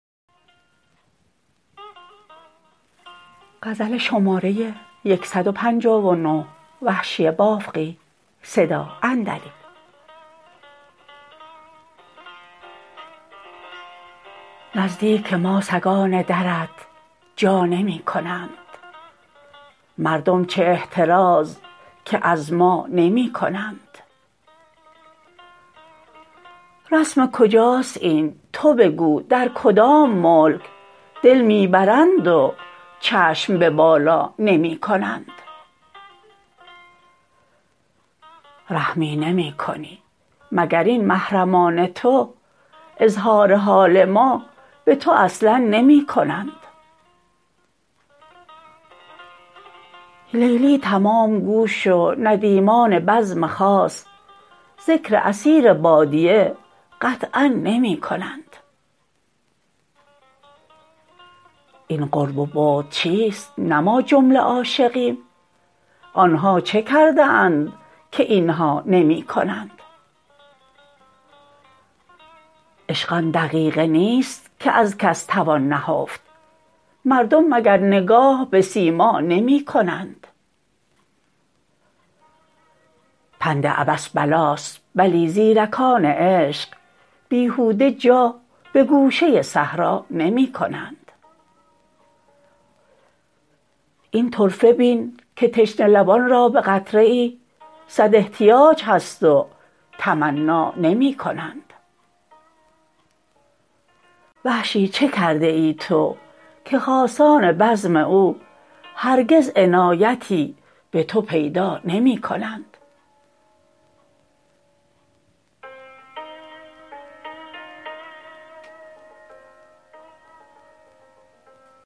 نزدیک ما سگان درت جا نمی کنند مردم چه احتراز که از ما نمی کنند رسم کجاست این تو بگو در کدام ملک دل می برند و چشم به بالا نمی کنند رحمی نمی کنی مگر این محرمان تو اظهار حال ما به تو اصلا نمی کنند لیلی تمام گوش و ندیمان بزم خاص ذکر اسیر بادیه قطعا نمی کنند این قرب و بعد چیست نه ما جمله عاشقیم آنها چه کرده اند که اینها نمی کنند عشق آن دقیقه نیست که از کس توان نهفت مردم مگر نگاه به سیما نمی کنند پند عبث بلاست بلی زیرکانه عشق بیهوده جا به گوشه صحرا نمی کنند این طرفه بین که تشنه لبان را به قطره ای سد احتیاج هست و تمنا نمی کنند وحشی چه کرده ای تو که خاصان بزم او هرگز عنایتی به تو پیدا نمی کنند